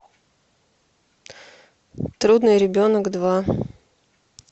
трудный ребенок два